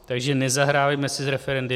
Takže nezahrávejme si s referendy.